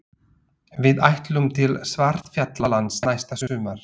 Við ætlum til Svartfjallalands næsta sumar.